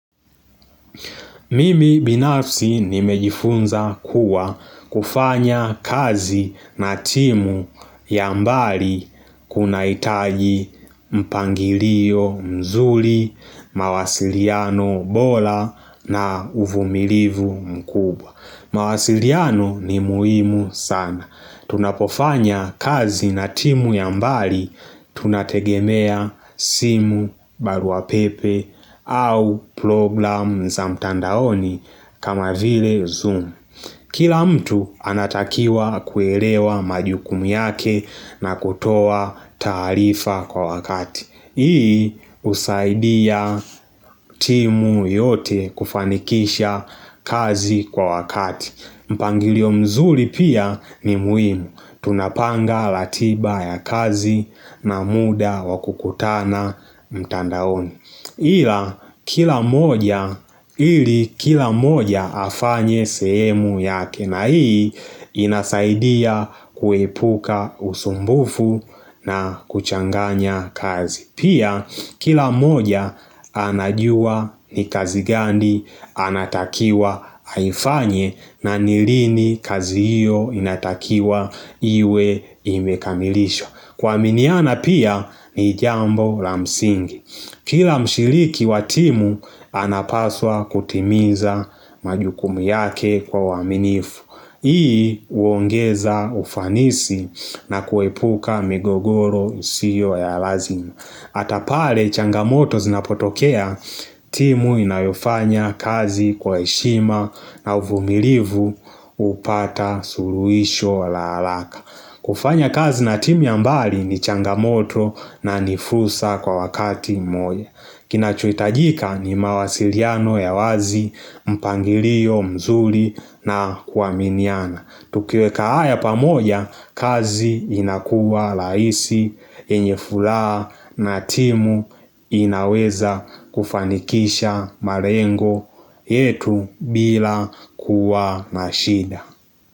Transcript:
Mimi binafsi nimejifunza kuwa kufanya kazi na timu ya mbali kunahitaji mpangilio mzuri, mawasiliano bora na uvumilivu mkubwa mawasiliano ni muhimu sana. Tunapofanya kazi na timu ya mbali tunategemea simu barua pepe au programu za mtandaoni kama vile zoom. Kila mtu anatakiwa kuelewa majukumu yake na kutoa taarifa kwa wakati. Hii husaidia timu yote kufanikisha kazi kwa wakati. Mpangilio mzuri pia ni muhimu. Tunapanga ratiba ya kazi na muda wa kukutana mtandaoni. Ila kila mmoja ili kila mmoja afanye sehemu yake na hii inasaidia kuepuka usumbufu na kuchanganya kazi. Pia kila mmoja anajua ni kazi gani anatakiwa aifanye na ni lini kazi hiyo inatakiwa iwe imekamilishwa. Kuaminiana pia ni jambo la msingi Kila mshiriki wa timu anapaswa kutimiza majukumu yake kwa uaminifu Hii huongeza ufanisi na kuepuka migogoro isiyo ya lazima hata pale changamoto zinapotokea timu inayofanya kazi kwa heshima na uvumilivu hupata suluisho la haraka kufanya kazi na timu ya mbali ni changamoto na ni fursa kwa wakati mmoja. Kinachohitajika ni mawasiliano ya wazi, mpangilio, mzuri na kuaminiana. Tukiweka haya pamoja kazi inakuwa rahisi, yenye furaha na timu inaweza kufanikisha malengo yetu bila kuwa na shida.